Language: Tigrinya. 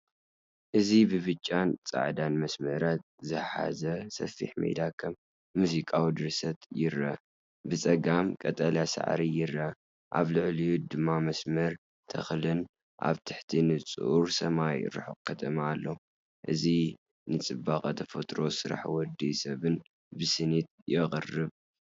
እዚ ብጫን ጻዕዳን መስመራት ዝሓዘ ሰፊሕ ሜዳ ከም ሙዚቃዊ ድርሰት ይረአ። ብጸጋም ቀጠልያ ሳዕሪ ይርአ፣ ኣብ ልዕሊኡ ድማ መስመር ተክልን ኣብ ትሕቲ ንጹር ሰማይ ርሑቕ ከተማን ኣሎ። እዚ ንጽባቐ ተፈጥሮን ስራሕ ወዲ ሰብን ብስኒት የቕርብ።